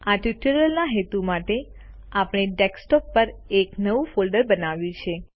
આ ટ્યુટોરીયલના હેતુ માટે આપણે ડેસ્કટોપ પર એક નવું ફોલ્ડર બનાવ્યું છે